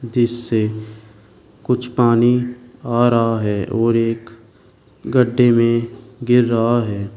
जिससे कुछ पानी आ रहा है और एक गड्ढे में गिर रहा है।